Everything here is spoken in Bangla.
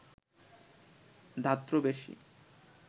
ধাত্র বেশী